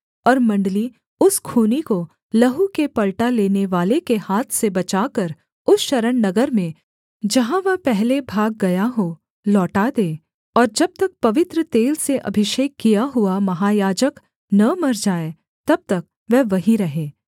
और मण्डली उस खूनी को लहू के पलटा लेनेवाले के हाथ से बचाकर उस शरणनगर में जहाँ वह पहले भाग गया हो लौटा दे और जब तक पवित्र तेल से अभिषेक किया हुआ महायाजक न मर जाए तब तक वह वहीं रहे